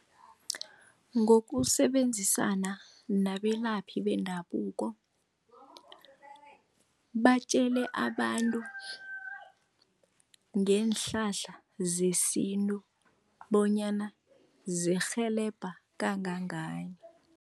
Ngokusebenzisana nabelaphi bendabuko, batjele abantu ngeenhlahla zesintu bonyana zirhelebha kangangani.